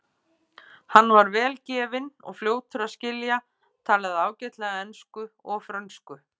Hann var vel gefinn og fljótur að skilja, talaði ágætlega ensku og frönsku.